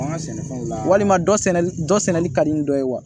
Walima dɔ sɛnɛ dɔ sɛnɛli ka di dɔ ye wa